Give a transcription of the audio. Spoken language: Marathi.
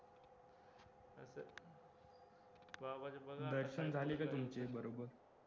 दर्शन झाले का तुमचे बरोबर